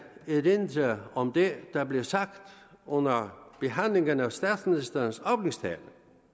erindre om det der blev sagt under behandlingen af statsministerens åbningstale